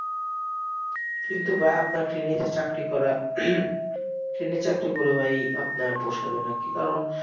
কিন্তু ভাইয়া আপনার ট্রেন এ যে চাকরি করা হম ট্রেন এ চাকরি ভাই আপনার পোশাবে নাকি কারণ,